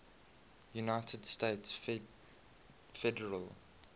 united states federal